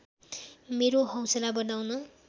मेरो हौसला बढाउन